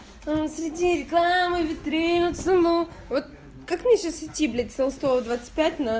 а среди реклама витрины ну вот как мне сейчас идти блять со сто двадцать пять ноль